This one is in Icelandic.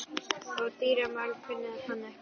Og dýramál kunni hann ekki.